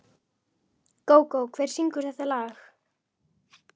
Gógó, hver syngur þetta lag?